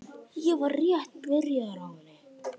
Ég var rétt byrjaður á henni.